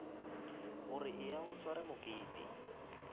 gore eya o sware mokete